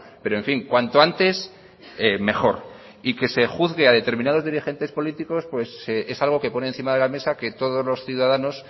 pero en fin cuanto antes mejor y que se juzgue a determinados dirigentes políticos es algo que ponen encima de la mesa que todos los ciudadanos